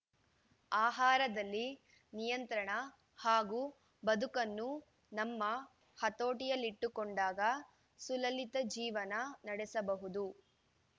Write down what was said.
ಆಹಾರದಲ್ಲಿ ನಿಯಂತ್ರಣ ಹಾಗೂ ಬದುಕನ್ನು ನಮ್ಮ ಹತೋಟಿಯಲ್ಲಿಟ್ಟುಕೊಂಡಾಗ ಸುಲಲಿತ ಜೀವನ ನಡೆಸಬಹುದು